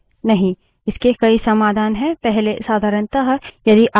नहीं इसके कई समाधान हैं